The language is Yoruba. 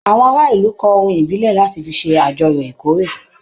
Àwọn ará ìlú kọ orin ìbílẹ̀ láti fi ṣe àjọyọ̀ ìkóré.